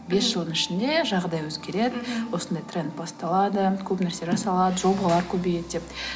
бес жылдың ішінде жағдай өзгереді мхм осындай тренд басталады көп нәрселер жасалады жобалар көбейеді деп